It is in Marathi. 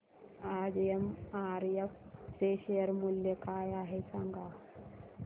आज एमआरएफ चे शेअर मूल्य काय आहे सांगा